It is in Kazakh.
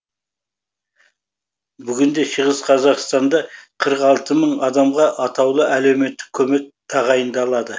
бүгінде шығыс қазақстанда қырық алты мың адамға атаулы әлеуметтік көмек тағайындалады